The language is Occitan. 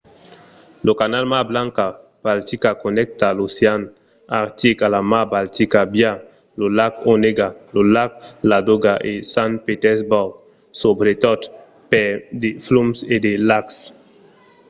lo canal mar blanca–baltica connècta l’ocean artic a la mar baltica via lo lac onega lo lac ladoga e sant petersborg subretot per de flums e de lacs